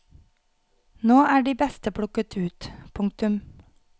Nå er de beste plukket ut. punktum